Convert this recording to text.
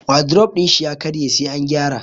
Wadrof din shi ya karye sai an gyara.